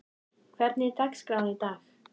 Hallborg, hvernig er dagskráin í dag?